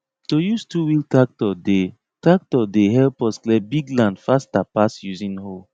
to use twowheel tactor dey tactor dey help us clear big land faster pass using hoe